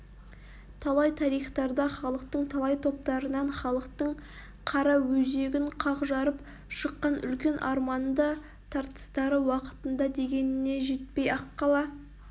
талай тарихтарда халықтың талай топтарынан халықтың қара өзегін қақ жарып шыққан үлкен арманды тартыстары уақытында дегеніне жетпей-ақ қала